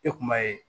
E kun b'a ye